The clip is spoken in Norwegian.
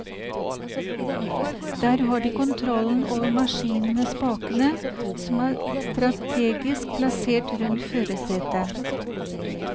Der har de kontrollen over maskinen med spakene, som er strategisk plassert rundt førersetet.